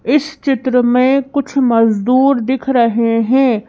इस चित्र में कुछ मजदूर दिख रहे हैं।